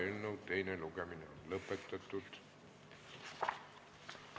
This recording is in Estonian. Eelnõu teine lugemine on lõpetatud.